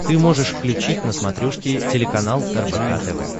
ты можешь включить на смотрешке телеканал рбк тв